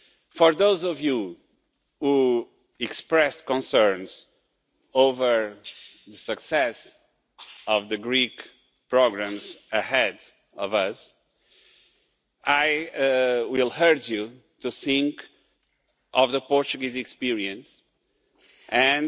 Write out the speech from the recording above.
For those of you who expressed concerns over the success of the Greek programmes ahead of us, I would urge you to think of the Portuguese experience and